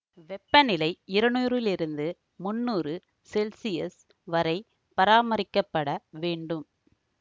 வெப்பநிலை இருநூறிலிருந்து முன்னூறு செல்சியஸ் வரை பராமரிக்கப்பட வேண்டும்